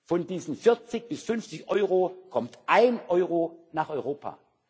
Von diesen 40 bis 50 Euro kommt ein Euro nach Europa.